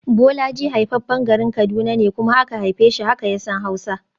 Bolaji haifaffen garin Kaduna ne kuma aka haife shi, haka ya san Hausa